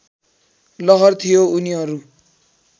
लहर थियो उनीहरू